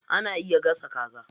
Ana iya gasa kaza.